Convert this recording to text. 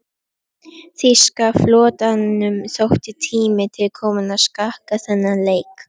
Þýska flotanum þótti tími til kominn að skakka þennan leik.